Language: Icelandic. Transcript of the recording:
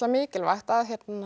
mikilvægt að